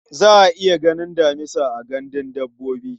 Za a iya ganin damisa a gandun dabbobi.